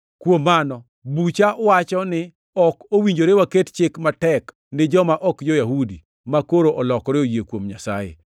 “Kuom mano bucha wacho ni ok owinjore waket chik matek ni joma ok jo-Yahudi makoro olokore oyie kuom Nyasaye.